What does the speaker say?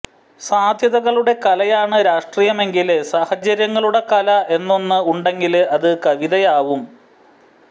സാധ്യതകളുടെ കലയാണ് രാഷ്ട്രീയമെങ്കില് സാഹചര്യങ്ങളുടെ കല എന്നൊന്ന് ഉണ്ടെങ്കില് അത് കവിതയാവും